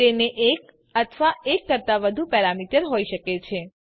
તેને એક અથવા એક કરતાં વધુ પેરામીટર હોઈ શકે છે